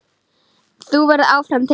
Þú verður áfram til.